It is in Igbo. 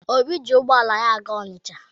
Obi ji ụgbọala ya aga Ọnịcha.